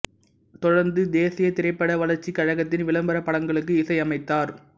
தொடர்ந்து தேசியத் திரைப்பட வளர்ச்சிக் கழகத்தின் விளம்பரப் படங்களுக்கு இசையமைத்தார்